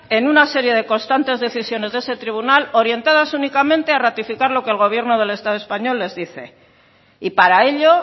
en una serie de constantes decisiones de ese tribunal orientadas únicamente a ratificar lo que el gobierno del estado español les dice y para ello